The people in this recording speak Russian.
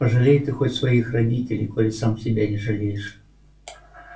пожалей ты хоть своих родителей коли сам себя не жалеешь